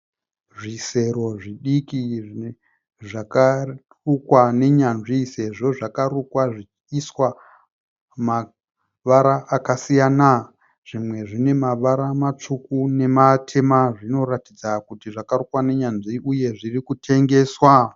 Zvisero zvidiki zvakarukwa nenyanzvi sezvo zvakarukwa zvichiiswa mavara akasiyana. Zvimwe zvine mavara matsvuku nematema zvinoratidza kuti zvakarukwa nenyanzvi uye zvirikutengeswa.